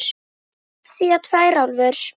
Evrasía tvær álfur.